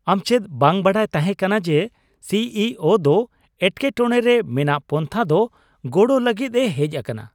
ᱟᱢ ᱪᱮᱫ ᱵᱟᱝ ᱵᱟᱰᱟᱭ ᱛᱟᱦᱮᱸ ᱠᱟᱱᱟ ᱡᱮ, ᱥᱤ ᱤ ᱳ (CEO) ᱫᱚ ᱮᱴᱠᱮᱴᱚᱲᱮ ᱨᱮ ᱢᱮᱱᱟᱜ ᱯᱟᱱᱛᱷᱟ ᱫᱚ ᱜᱚᱲᱚ ᱞᱟᱹᱜᱤᱫ ᱮ ᱦᱮᱡ ᱟᱠᱟᱱᱟ ᱾